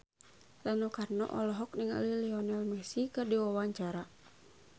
Rano Karno olohok ningali Lionel Messi keur diwawancara